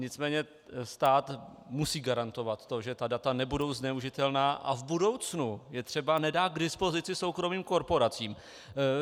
Nicméně stát musí garantovat to, že ta data nebudou zneužitelná a v budoucnu je třeba nedá k dispozici soukromým korporacím.